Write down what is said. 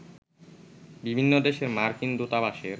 বিভিন্ন দেশের মার্কিন দূতাবাসের